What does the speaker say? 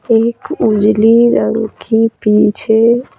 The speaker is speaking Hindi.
एक उजली रंग की पीछे--